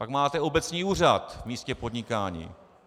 Pak máte obecní úřad v místě podnikání.